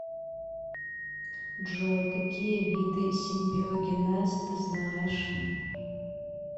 джой какие виды симбиогенез ты знаешь